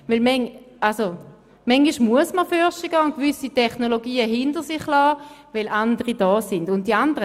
Manchmal muss man vorwärtsgehen und gewisse Technologien hinter sich lassen, weil andere entwickelt worden sind.